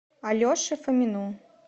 алеше фомину